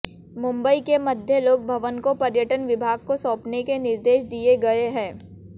मुंबई के मध्य लोक भवन को पर्यटन विभाग को सौपने के निर्देश दिए गए हैं